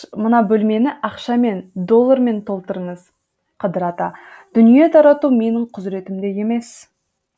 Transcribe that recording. мына бөлмені ақшамен доллармен толтырыңыз қыдыр ата дүние тарату менің құзіретімде емес